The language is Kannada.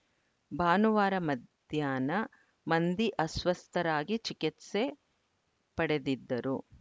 ಭಾನುವಾರ ಮಧ್ಯಾಹ್ನ ಮಂದಿ ಅಸ್ವಸ್ಥರಾಗಿ ಚಿಕಿತ್ಸೆ ಪಡೆದಿದ್ದರು